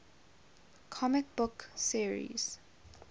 comic book series